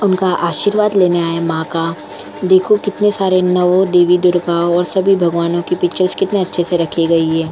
उनका आशीर्वाद लेने आए मां का देखो कितने सारे नवो देवी दुर्गा और सभी भगवानों की पिक्चर्स कितने अच्छे से रखी गई है ।